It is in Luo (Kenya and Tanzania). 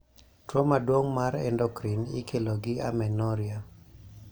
tuo maduong' mar endocrine ikelo gi amenorrhea